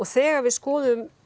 þegar við skoðum